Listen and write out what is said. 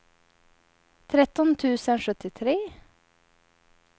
tretton tusen sjuttiotre